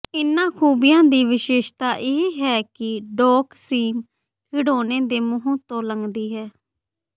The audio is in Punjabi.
ਇਹਨਾਂ ਖੂਬੀਆਂ ਦੀ ਵਿਸ਼ੇਸ਼ਤਾ ਇਹ ਹੈ ਕਿ ਡੌਕ ਸੀਮ ਖਿਡੌਣੇ ਦੇ ਮੂੰਹ ਤੋਂ ਲੰਘਦੀ ਹੈ